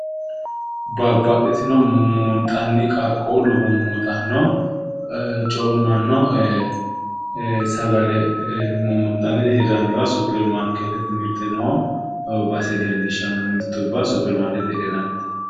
Babbaxxitino mummuunxanni qaqquullu mummuuxanno coommanno sagale mummuuxannire hirranniwa supperimaarkeettete mirte noo base leellishshanno. Mirtubba supperimaarkeettete hidhinannite.